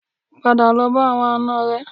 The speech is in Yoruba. Padà lọ bá àwọn àna rẹ